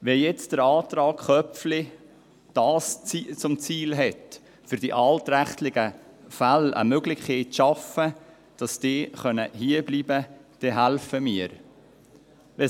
Wenn der Antrag Köpfli nun zum Ziel hat, für die altrechtlichen Fälle eine Möglichkeit zu schaffen, dass diese hierbleiben können, dann helfen wir mit.